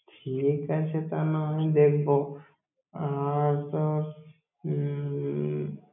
ঠিক আছে, তা না হয় দেখবো। আর তো উম